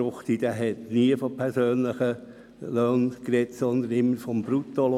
Ich habe nie von persönlichen Löhnen gesprochen, sondern stets vom Bruttolohn.